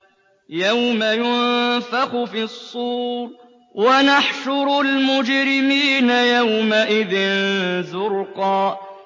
يَوْمَ يُنفَخُ فِي الصُّورِ ۚ وَنَحْشُرُ الْمُجْرِمِينَ يَوْمَئِذٍ زُرْقًا